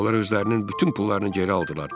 Onlar özlərinin bütün pullarını geri aldılar.